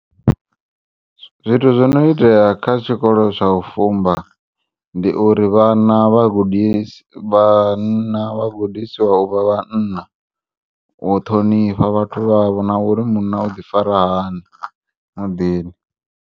Zwithu zwono iteya kha tshiikolo tsha u fumba ndi uri vhana vhagudis vhanna vhagudisiwa uvha vhanna u ṱhonifha vhathu vha vho nauri munna u ḓifara hani muḓini.